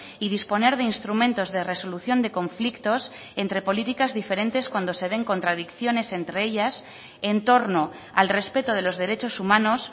y disponer de instrumentos de resolución de conflictos entre políticas diferentes cuando se den contradicciones entre ellas en torno al respeto de los derechos humanos